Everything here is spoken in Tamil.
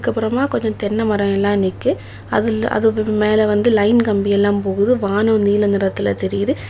அதுக்கு அப்புறமா கொஞ்சம் தென்னைமரம் எல்லாம் நிக்கி அதுல அதுகு மேல வந்து லைன் கம்பி எல்லாம் போகுது வானம் நீல நிறதுல தெரியுது.